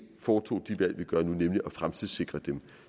foretog de valg vi gør nu nemlig at fremtidssikre dem